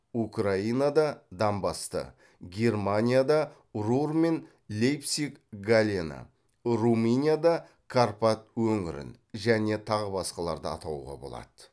украинада донбасты германияда рур мен лейпциг галлені румынияда карпат өңірін және тағы басқаларды атауға болады